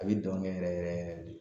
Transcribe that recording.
A bi dɔn kɛ yɛrɛ yɛrɛ yɛrɛ de